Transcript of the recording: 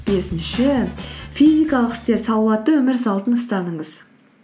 бесінші физикалық істер салауатты өмір салтын ұстаныңыз